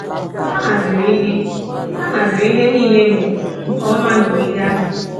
A haziri ihe A haziri ihe nile a emere nke ọma n’ogige ahụ.